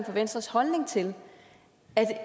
venstres holdning til at